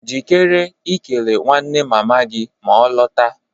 Jikere ikele nwanne mama gị ma ọ lọta.